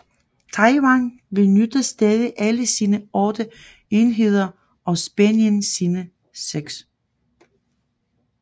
Taiwan benytter stadig alle sine otte enheder og Spanien sine seks